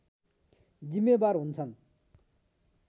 जिम्मेवार हुन्छन्।